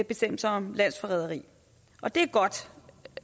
bestemmelsen om landsforræderi og det er godt